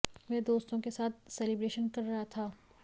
वह दोस्तों के साथ सेलिब्रेशन कर रहा था